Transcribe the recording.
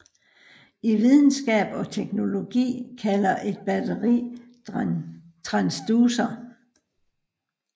I videnskab og teknologi kaldes et batteri en transducer